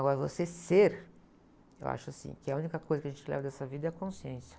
Agora, você ser, eu acho assim, que a única coisa que a gente leva dessa vida é a consciência.